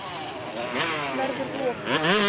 Verður rok.